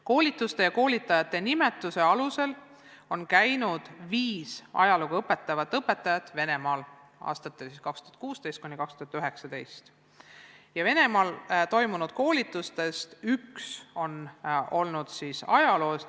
Koolituste ja koolitajate nimetuse alusel on käinud viis ajalooõpetajat Venemaal aastatel 2016–2019 ja Venemaal toimunud koolitustest üks on olnud ajaloo teemal.